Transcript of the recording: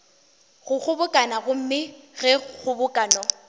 go kgobokano gomme ge kgobokano